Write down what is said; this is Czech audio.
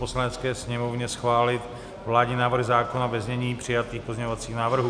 Poslanecké sněmovně schválit vládní návrh zákona ve znění přijatých pozměňovacích návrhů.